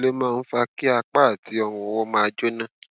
kí ló máa ń fa kí apá àti ọrùnọwọ máa jóná